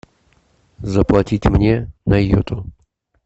заплатить мне на йоту